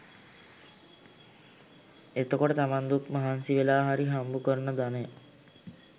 එතකොට තමන් දුක් මහන්සි වෙලා හරි හම්බු කරන ධනය